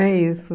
É isso.